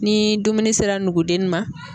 Ni dumuni sera nugudennin ma.